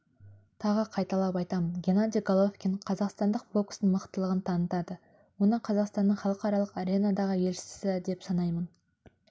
тағы қайталап айтамын геннадий головкин қазақстандық бокстың мықтылығын танытады оны қазақстанның халықаралық аренадағы елшісі деп санаймын